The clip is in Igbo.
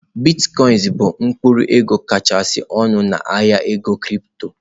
Bitkoinsị bụ mkpụrụ ego kachasị ọnụ na ahịa ego kịrịpto.